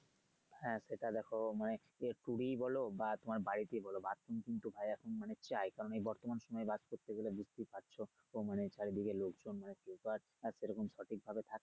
হ্যা সেটা দেখো মানে সেটা tour ই বলো বা তোমার বাড়িতেই বলো bathroom কিন্তু ভাই এমন মানে চাই কারণ এ বর্তমান সময়ে বাস্ করতে গেলে বুঝতেই পারছো মানে চারিদিকে লোকজন মানে সেরকম সঠিকভাবে থাকে